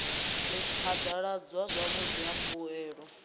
u phadaladzwa zwavhudi ha mbuelo